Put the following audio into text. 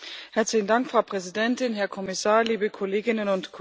Frau Präsidentin, Herr Kommissar, liebe Kolleginnen und Kollegen!